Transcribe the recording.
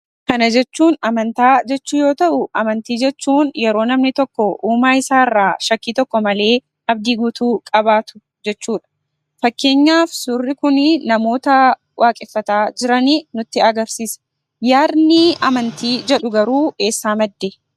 Kana jechuun amantaa jechuu yemmuu ta'u, amantii jechuun yeroo namni tokko uumaa isaa irraa shakkii tokko malee abdii guutuu qabaatu jechuudha. Fakkeenyaaf, suurri kun namoota waaqeffataa jiran nutti agarsiisa. Yaadni amantii jedhu garuu eessaa madde?